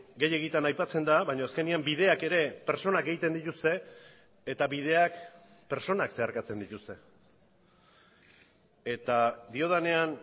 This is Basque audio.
gehiegitan aipatzen da baina azkenean bideak ere pertsonak egiten dituzte eta bideak pertsonak zeharkatzen dituzte eta diodanean